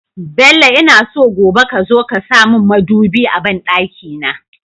Bello ina so gobe kazo ka samun mudubi a banɗaki na